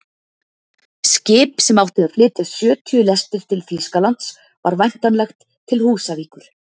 Skip sem átti að flytja sjötíu lestir til Þýskalands var væntanlegt til Húsavíkur.